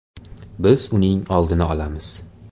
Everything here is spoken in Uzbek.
Biz uning oldini olamiz.